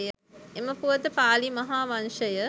එම පුවත පාලි මහා වංශය